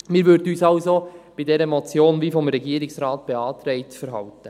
Wir würden uns also bei dieser Motion wie vom Regierungsrat beantragt verhalten.